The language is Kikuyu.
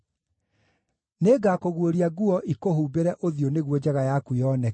Nĩngakũguũria nguo ikũhumbĩre ũthiũ nĩguo njaga yaku yoneke: